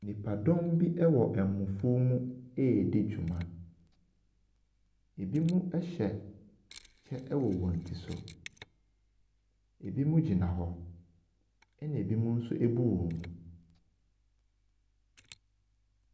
Nipadɔm bi wɔ ɛmofuo mu redi dwuma. Ɛbinom hyɛ kyɛ wɔ wɔn ti so. Ɛbinom gyina hɔ, ɛna ɛbinom nso abu wɔn mu.